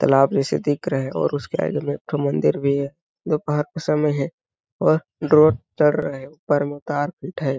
तलाब जैसे दिख रहे है और उसके आगे में एक ठो एक मंदिर भी है दोपहर का समय है और ड्रॉ चढ़ रहे ऊपर में उतार पिट है।